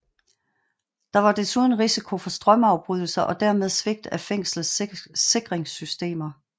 Der var desuden risiko for strømafbrydelse og dermed svigt af fængslets sikringssystemer